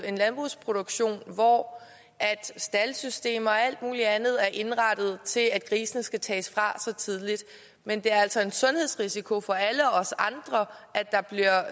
en landbrugsproduktion hvor staldsystemer og alt muligt andet er indrettet til at grisene skal tages fra så tidligt men det er altså en sundhedsrisiko for alle os andre at der bliver